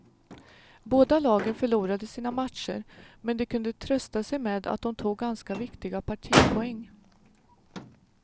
Båda lagen förlorade sina matcher, men de kunde trösta sig med att de tog ganska viktiga partipoäng.